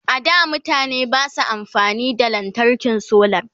a da mutane Basu amfani da lantarkin solar